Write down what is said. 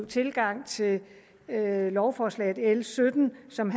tilgang til lovforslaget l sytten som